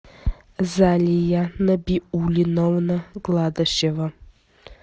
залия набиулиновна гладышева